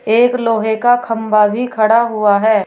एक लोहे का खंभा भी खड़ा हुआ है।